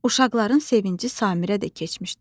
Uşaqların sevinci Samirə də keçmişdi.